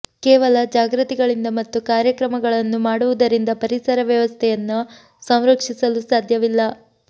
ಕೇವಲ ಜಾಗೃತಿಗಳಿಂದ ಮತ್ತು ಕಾರ್ಯಕ್ರಮಗಳನ್ನು ಮಾಡುವುದರಿಂದ ಪರಿಸರ ವ್ಯವಸ್ಥೆಯನ್ನ ಸಂರಕ್ಷಿಸಲು ಸಾಧ್ಯವಿಲ್ಲ